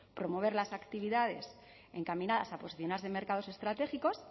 promover las actividades encaminadas a posicionarse en mercados estratégicos